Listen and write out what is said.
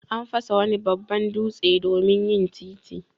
An fasa wani babban dutse domin yin titi.